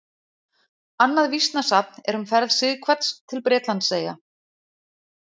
Annað vísnasafn er um ferð Sighvats til Bretlandseyja.